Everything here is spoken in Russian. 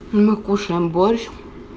мы кушаем борщ